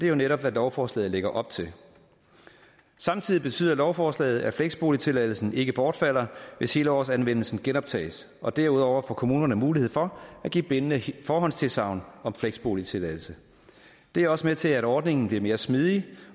jo netop hvad lovforslaget lægger op til samtidig betyder lovforslaget at fleksboligtilladelsen ikke bortfalder hvis helårsanvendelsen genoptages og derudover får kommunerne mulighed for at give bindende forhåndstilsagn om fleksboligtilladelse det er også med til at ordningen bliver mere smidig